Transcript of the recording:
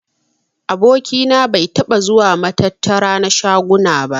Aboki na bai taɓa zuwa matattara na shaguna ba.